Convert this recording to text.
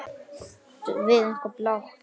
Áttu eitthvað blátt?